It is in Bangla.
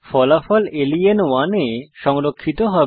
ফলাফল লেন1 এ সংরক্ষিত হবে